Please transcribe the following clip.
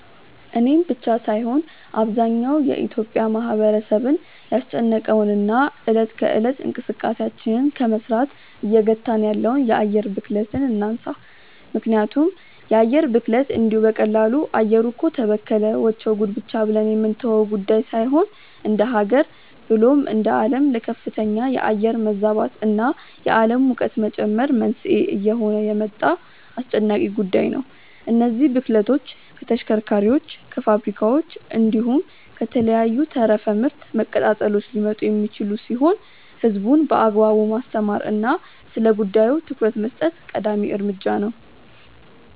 እኔን ብቻ ሳይሆን አብዛኛው የኢትዮጲያ ማህበረሰብን ያስጨነቀውን እና እለት ከእለት እንቅስቃሴያችንን ከመስራት እየገታን ያለውን የአየር ብክለትን እናንሳ። ምክንያቱም የአየር ብክለት እንዲሁ በቀላሉ “አየሩ እኮ ተበከለ… ወቸው ጉድ” ብቻ ብለን የምንተወው ጉዳይ ሳይሆን እንደሃገር ብሎም እንደአለም ለከፍተኛ የአየር መዛባት እና የአለም ሙቀት መጨመር መንስኤ እየሆነ የመጣ አስጨናቂ ጉዳይ ነው። እነዚህ ብክለቶች ከተሽከርካሪዎች፣ ከፋብሪካዎች፣ እንዲሁም ከተለያዩ ተረፈ ምርት መቀጣጠሎች ሊመጡ የሚችሉ ሲሆን ህዝቡን በአግባቡ ማስተማር እና ስለጉዳዩ ትኩረት መስጠት ቀዳሚ እርምጃ ነው።